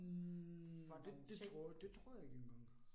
Hm det tror det tror jeg ikke engang